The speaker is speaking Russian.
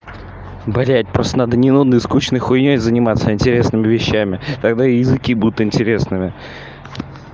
блядь просто надо не нудной и скучной хуйнёй заниматься а интересными вещами тогда и языки будут интересными